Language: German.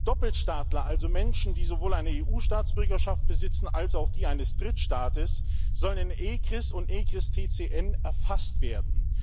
Doppelstaatler, also Menschen, die sowohl eine EU Staatsbürgerschaft besitzen als auch die eines Drittstaates, sollen in ECRIS und ECRIS TCN erfasst werden.